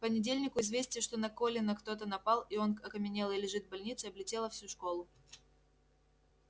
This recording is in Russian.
к понедельнику известие что на колина кто-то напал и он окаменелый лежит в больнице облетело всю школу